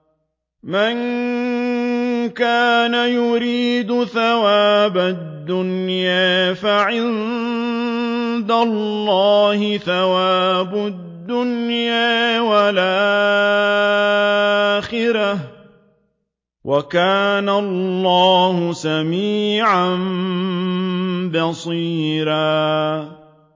مَّن كَانَ يُرِيدُ ثَوَابَ الدُّنْيَا فَعِندَ اللَّهِ ثَوَابُ الدُّنْيَا وَالْآخِرَةِ ۚ وَكَانَ اللَّهُ سَمِيعًا بَصِيرًا